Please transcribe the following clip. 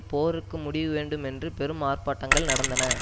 போருக்கு முடிவு வேண்டும் என்று பெரும் ஆர்ப்பாட்டங்கள் நடந்தன